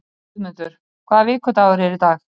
Guðmundur, hvaða vikudagur er í dag?